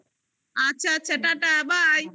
আচ্ছা আচ্ছা, tata bye